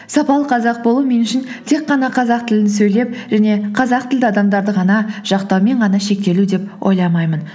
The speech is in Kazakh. сапалы қазақ болу мен үшін тек қана қазақ тілін сөйлеп және қазақ тілді адамдарды ғана жақтаумен ғана шектелу деп ойламаймын